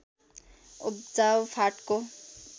उब्जाउ फाँटको